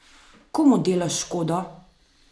Komu delaš škodo?